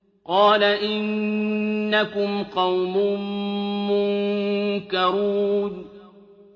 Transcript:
قَالَ إِنَّكُمْ قَوْمٌ مُّنكَرُونَ